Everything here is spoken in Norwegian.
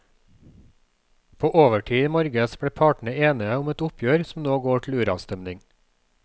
På overtid i morges ble partene enige om et oppgjør som nå går til uravstemning.